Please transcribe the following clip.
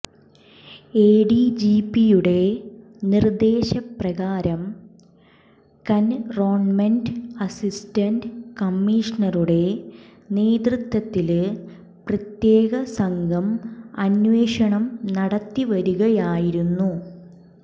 എഡിജിപിയുടെ നിര്ദ്ദശേ പ്രകാരം cantonment assistant കമ്മീഷണറുടെ നേതൃത്വത്തില് പ്രത്യകേ സംഘം അന്വേഷണം നടത്തി വരികയായിരുന്നു